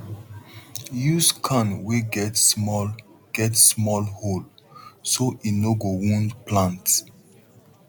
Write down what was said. use can wey get small get small hole so e no go wound plant